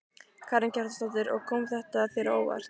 Karen Kjartansdóttir: Og kom þetta þér á óvart?